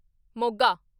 Moga